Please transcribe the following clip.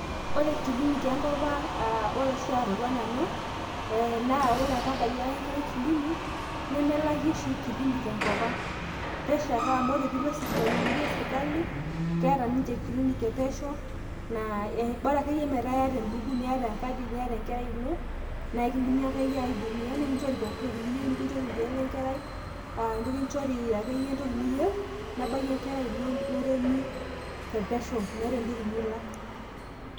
ore kilinik enkopang' ore oshi atodua nanu ore apa abayie aya enkerai kilinik nemelaki oshi kilinik tenkopang' , pesho ake amu ore pee ilo kilinik esirkali naa pesho ake ,bora ake meetaa iyata ebuku ,enkadi niayata enkerai ino naa ekidimi akee aihudumiya tepesho meeta entoki nilak.